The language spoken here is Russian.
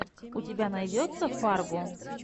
у тебя найдется фарго